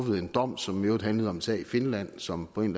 en dom som i øvrigt handlede om en sag i finland som på en